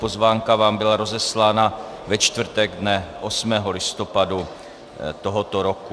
Pozvánka vám byla rozeslána ve čtvrtek dne 8. listopadu tohoto roku.